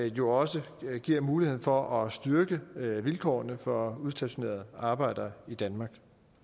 jo også giver muligheden for at styrke vilkårene for udstationerede arbejdere i danmark